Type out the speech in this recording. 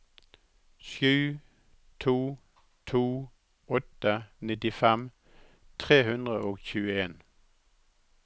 sju to to åtte nittifem tre hundre og tjueen